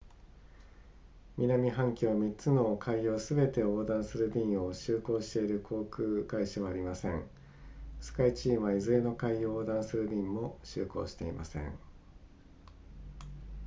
南半球の3つの海洋すべてを横断する便を就航している航空会社はありませんスカイチームはいずれの海洋を横断する便も就航していません